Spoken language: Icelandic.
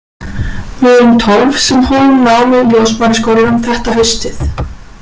Við erum tólf sem hófum nám í Ljósmæðraskólanum þetta haustið.